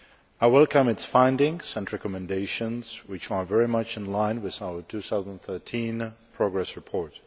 I welcome its findings and recommendations which are very much in line with our 2013 progress report.